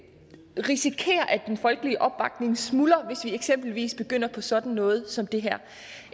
vi risikerer at den folkelige opbakning smuldrer hvis vi eksempelvis begynder på sådan noget som det her